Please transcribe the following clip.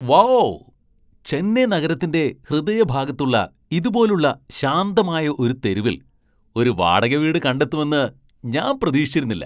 Wow ! Chennai നഗരത്തിന്റെ ഹൃദയഭാഗത്തുള്ള ഇതുപോലുള്ള ശാന്തമായ ഒരു തെരുവിൽ ഒരു വാടക വീട് കണ്ടെത്തുമെന്ന് ഞാൻ പ്രതീക്ഷിച്ചിരുന്നില്ല.